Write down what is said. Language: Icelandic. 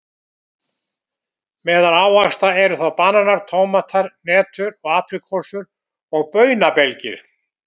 Meðal ávaxta eru þá bananar, tómatar, hnetur, apríkósur og baunabelgir.